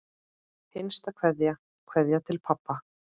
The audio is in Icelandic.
HINSTA KVEÐJA Kveðja til pabba.